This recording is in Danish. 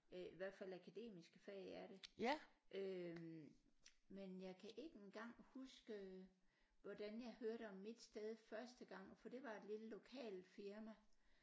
Øh i hvert fald akademiske fag er det øh men jeg kan ikke engang huske øh hvordan jeg hørte om mit sted første gang for det var et lille lokalt firma